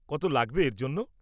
কত লাগবে এর জন্য?